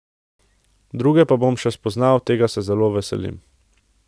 Druge pa bom še spoznal, tega se zelo veselim.